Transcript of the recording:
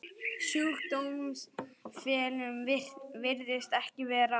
Sjúkdómstilfellum virðist ekki vera að fjölga.